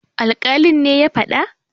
alkalin ne ya fada?